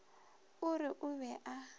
o re o be a